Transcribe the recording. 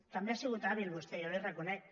també ha sigut hàbil vostè jo li ho reconec